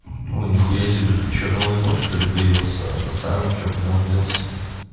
о нихуя себе тут что новый бот что-ли появился а со старым что куда он делся